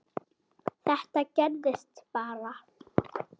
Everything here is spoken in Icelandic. Þetta gerðist bara?!